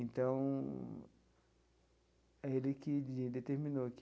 Então, é ele que determinou que...